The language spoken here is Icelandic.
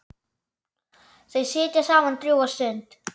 Þau sitja saman drjúga stund.